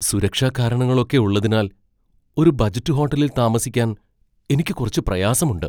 സുരക്ഷാ കാരണങ്ങളൊക്കെ ഉള്ളതിനാൽ ഒരു ബജറ്റ് ഹോട്ടലിൽ താമസിക്കാൻ എനിക്ക് കുറച്ച് പ്രയാസമുണ്ട്.